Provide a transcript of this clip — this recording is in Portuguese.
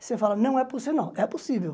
Você fala, não, é possí não é possível